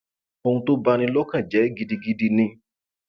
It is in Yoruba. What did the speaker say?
ohun tó bá ní lọkàn jẹ gidigidi ni